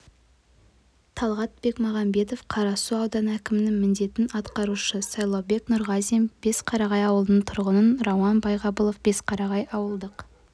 талғат бекмағанбетов қарасу ауданы әкімінің міндетін атқарушы сайлаубек нұрғазин бесқарағай ауылының тұрғыны рауан байғабылов бесқарағай ауылдық